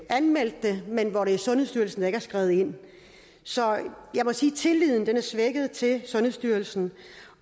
anmeldt det men hvor det er sundhedsstyrelsen der ikke er skredet ind så jeg må sige at tilliden er svækket til sundhedsstyrelsen